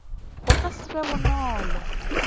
go ka se be bonolo